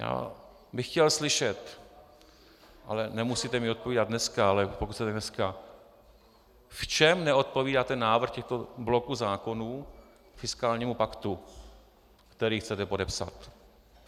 Já bych chtěl slyšet, ale nemusíte mi odpovídat dneska, ale pokud chcete dneska, v čem neodpovídá ten návrh těchto bloků zákonů fiskálnímu paktu, který chcete podepsat.